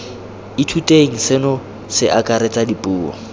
ithuteng seno se akaretsa dipuo